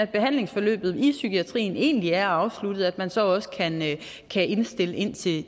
behandlingsforløbet i psykiatrien egentlig er afsluttet og hvor man så også kan kan indstille indstille